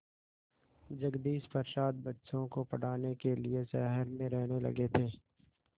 जगदीश प्रसाद बच्चों को पढ़ाने के लिए शहर में रहने लगे थे